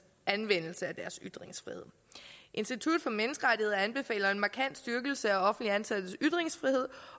anvendelse af deres ytringsfrihed institut for menneskerettigheder anbefaler en markant styrkelse af offentligt ansattes ytringsfrihed